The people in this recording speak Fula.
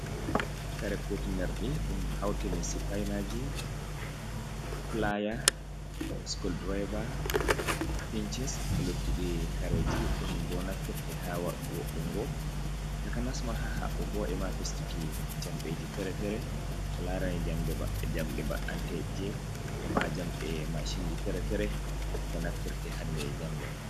Kare cotinerdi ɗum hautini sipinaji, flyer, schol driver, pinchins, e lottiɗi kareji dum bo naftirte ha wo ungo takanasma ha habugo e ma fistiki jamɗeji fere-fere ko larani jamɗe ba anteje e ma jamɗe mashinji fere-fere ko naftirte hande e jango.